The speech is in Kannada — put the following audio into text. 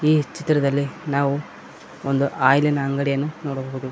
ಚಿತ್ರದಲ್ಲಿ ನಾವು ಒಂದು ಆಯಿಲಿನ ಅಂಗಡಿಯನ್ನು ನೋಡಬಹುದು.